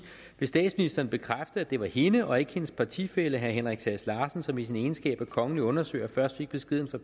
vil statsministeren bekræfte at det var hende og ikke hendes partifælle herre henrik sass larsen som i sin egenskab af kongelig undersøger først fik beskeden fra